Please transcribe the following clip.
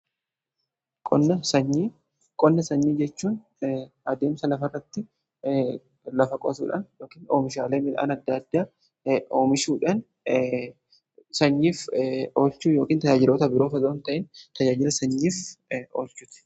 Qonna sanyii jechuun adeemsa lafa irratti lafa qotuudhaan yookiin oomishaalee midhaan adda addaa oomishuudhaan sanyiif oolchuu yookiin tajaajiloota biroof otoon ta'iin tajaajila sanyiif oolchuuti.